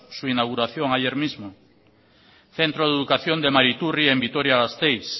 su inauguración ayer mismo centro de educación de mariturri en vitoria gasteiz